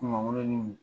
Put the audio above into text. Kungolo ni